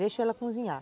Deixo ela cozinhar.